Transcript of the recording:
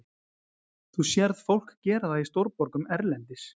Þú sérð fólk gera það í stórborgum erlendis.